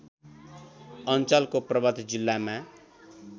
अञ्चलको पर्वत जिल्लामा